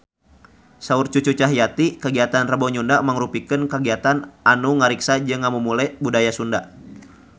Saur Cucu Cahyati kagiatan Rebo Nyunda mangrupikeun kagiatan anu ngariksa jeung ngamumule budaya Sunda